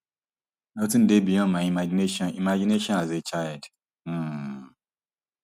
nothing dey beyond my imagination imagination as a child um